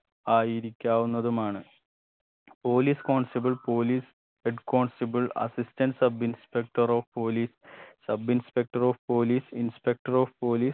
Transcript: ആയിരിക്കാവുന്നതുമാണ് police constable police head constable assistant sub inspector of police sub inspector of police inspector of police